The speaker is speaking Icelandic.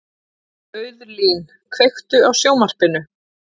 Auðlín, kveiktu á sjónvarpinu.